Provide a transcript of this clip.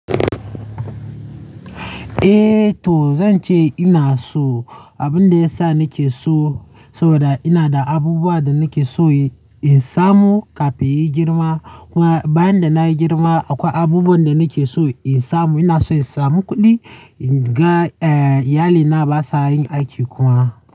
Eh to zan ce ina so. Abin da ya sa nake so saboda ina da abubuwa da nake so in samu kafin yin girma. Kuma bayan da na yi girma akwai abubuwan da nake so in samu. Ina so in samu kuɗi ga iyalina ba sa yin aiki kuma.